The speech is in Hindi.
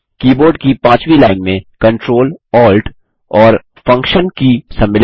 कीबोर्ड की पांचवी लाइन में Ctrl Alt और फंक्शन की सम्मिलित हैं